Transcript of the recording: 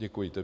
Děkuji.